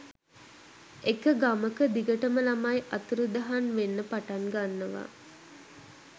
එක ගමක දිගටම ළමයි අතුරුදහන් වෙන්න පටන් ගන්නවා